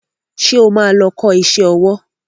Ṣé o ma lọ kọ́ṣẹ́ owó?